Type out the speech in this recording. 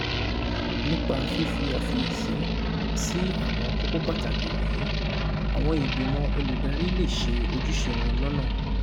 Nípa fífi àfiyèsí sí àwọn kókó pàtàkì wọ̀nyí, àwọn ìgbìmọ̀ olùdarí lè ṣe ojúṣe wọn lọ́nà